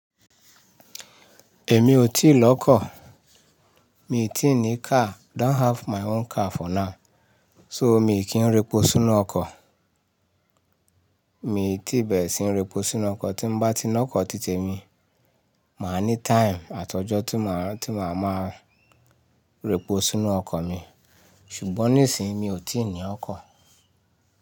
Èmi ò tí lọ́kọ̀. Mi ò tí ì ní car, i don't have my own car for now. So mi kì í repo sínú ọkọ̀. Mi ò tí bẹ̀rẹ̀ síí repo sínú ọkọ̀, tí n bá ti lọ́kọ̀ títè mi, màá ní time àtijọ́ tí màá, tí màá má repo sínú ọkọ̀ mi. Ṣùgbọ́n nísìín mi tíì ní ọkọ̀.